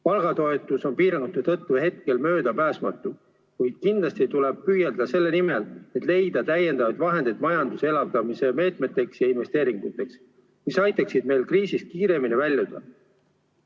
Palgatoetus on piirangute tõttu hetkel möödapääsmatu, kuid kindlasti tuleb püüelda selle poole, et leida täiendavaid vahendeid majanduse elavdamise meetmeteks ja investeeringuteks, mis aitaksid meil kriisist kiiremini väljuda.